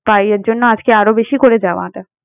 ভাইয়ের জন্য আজকে আরো বেশি করে যাওয়া টা।